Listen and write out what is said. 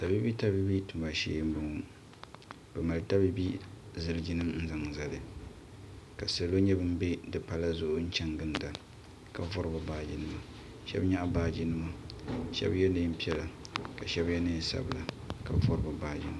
Tabiibi tabiibi tuma shee n bɔŋo bi mali tabiibi ziliji nim n zaŋ zali ka salo nyɛ bin bɛ di pala zuɣu n chani gilinda ka vari bi baaji nima shɛba nyaɣi baaji nima Shɛba yɛ niɛn piɛla ka shɛba yɛ niɛn sabila ka vari bi baaji nima.